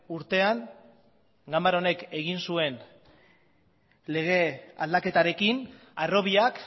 urtean ganbara honek egin zuen lege aldaketarekin harrobiak